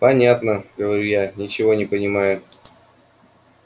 понятно говорю я ничего не понимая